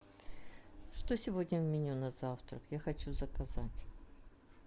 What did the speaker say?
что сегодня в меню на завтрак я хочу заказать